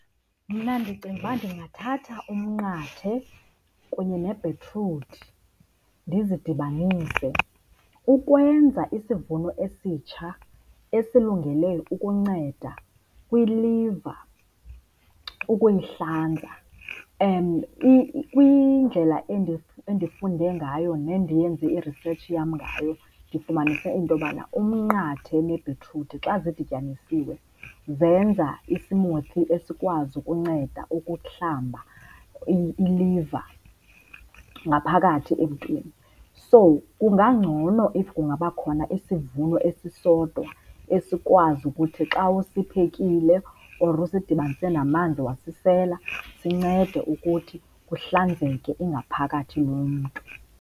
Mna ndicinga ukuba ndingathatha umnqathe kunye nebhitruthi ndizidibanise ukwenza isivuno esitsha esilungele ukunceda kwiliva ukuyihlanza. Kwindlela endifunde ngayo nendiyenze irisetshi yam ngayo ndifumanise into yobana umnqathe nebhitruthi xa zidityanisiwe zenza i-smoothie esikwazi ukunceda ukuhlamba iliva ngaphakathi emntwini. So, kungangcono if kungaba khona isivuno esisodwa esikwazi ukuthi xa usiphekile or usidibanise namanzi wasisela sincede ukuthi kuhlanzeke ingaphakathi yomntu.